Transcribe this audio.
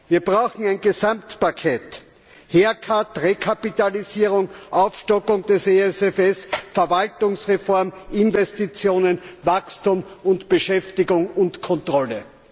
Wir brauchen ein Gesamtpaket, bestehend aus Haircut Rekapitalisierung, Aufstockung der EFSF, Verwaltungsreform, Investitionen, Wachstum und Beschäftigung und Kontrolle.